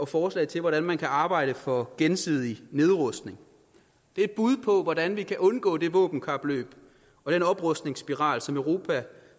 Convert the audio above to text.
forslag til hvordan man kan arbejde for gensidig nedrustning det er et bud på hvordan vi kan undgå det våbenkapløb og den oprustningsspiral som europa